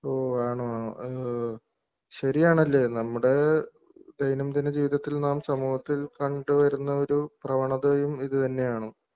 ഒഹ്ഹ് ആണോ ഏഹ്ഹ് ശരിയാണല്ലെ നമ്മുടെഏഹ് ദൈനംദിന ജീവിതത്തിൽ നാം സമൂഹത്തിൽ കണ്ടുവരുന്ന ഒരു പ്രവണതയും ഇതു തന്നെയാണ്.